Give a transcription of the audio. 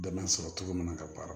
Dɛmɛ sɔrɔ cogo min na ka baara